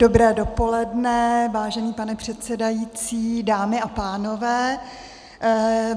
Dobré dopoledne, vážený pane předsedající, dámy a pánové.